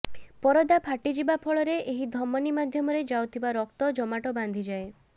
ପରଦା ଫାଟିଯିବା ଫଳରେ ଏହି ଧମନୀ ମାଧ୍ୟମରେ ଯାଉଥିବା ରକ୍ତ ଜମାଟ ବାନ୍ଧିଯାଏ